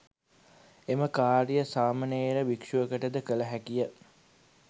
එම කාර්යය සාමණේර භික්‍ෂුවකට ද කළ හැකිය.